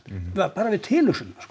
bara við tilhugsunina